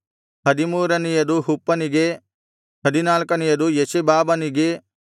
ಹದಿಮೂರನೆಯದು ಹುಪ್ಪನಿಗೆ ಹದಿನಾಲ್ಕನೆಯದು ಎಷೆಬಾಬನಿಗೆ